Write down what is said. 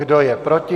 Kdo je proti?